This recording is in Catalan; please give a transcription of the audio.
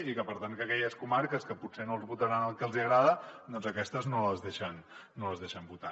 i que per tant que aquelles comarques que potser no votaran el que els hi agrada doncs aquestes no les deixen votar